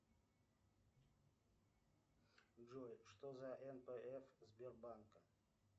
джой что за нпф сбербанка